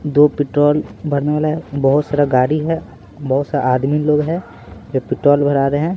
दो पेट्रोल भरने वाला है बहुत सारा गाड़ी है बहुत सारा आदमी लोग है जो पेट्रोल भरा रहे हैं।